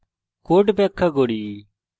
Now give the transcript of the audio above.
code ব্যাখ্যা করি